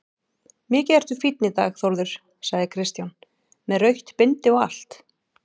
Mikið ertu fínn í dag Þórður, sagði Kristján, með rautt bindi og allt.